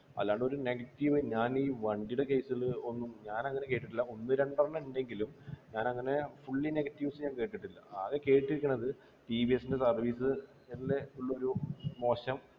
അല്ലാണ്ടൊരു negative ഞാനീ വണ്ടിടെ case ല് ഒന്നും ഞാനങ്ങനെ കേട്ടിട്ടില്ല ഒന്ന് രണ്ടെണ്ണം ണ്ടെങ്കിലും ഞാനങ്ങനെ fully negetives ഞാൻ കേട്ടിട്ടില്ല ആകെ കേട്ടിരിക്ക്ണത് TVS ൻ്റെ service എല്ലേ ഉള്ളൊരു മോശം